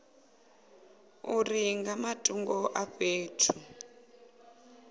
uri nga matungo a fhethu